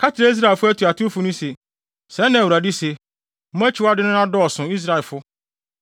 Ka kyerɛ Israelfo atuatewfo no se, ‘Sɛɛ na Awurade se: Mo akyiwadeyɛ no adɔɔso. Israelfo!